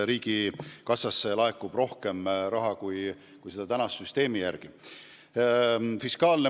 Riigikassasse laekub rohkem raha kui praeguse süsteemi korral.